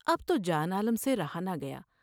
اب تو جان عالم سے رہا نہ گیا ۔